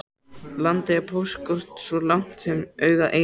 Landið er póstkort svo langt sem augað eygir.